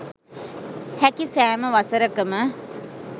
හැකි සෑම වසරකම